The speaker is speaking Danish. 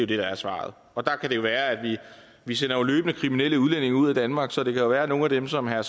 det der er svaret vi sender jo løbende kriminelle udlændinge ud af danmark så det kan jo være at nogle af dem som herre